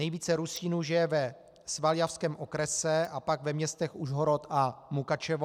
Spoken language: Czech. Nejvíce Rusínů žije ve Svaljavském okrese a pak ve městech Užhorod a Mukačevo.